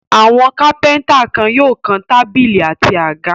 Àwọn kápẹ́ńtà kan yóò kan tábìlì àti àga.